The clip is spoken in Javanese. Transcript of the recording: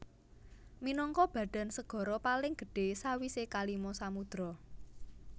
Minangka badan segara paling gedhé sawisé kalima samudra